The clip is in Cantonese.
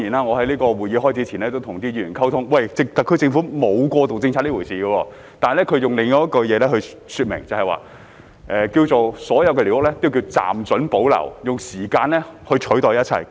我在會議開始前與議員溝通，表示特區政府沒有過渡政策這回事，而是說所有寮屋均暫准保留，用時間取代一切。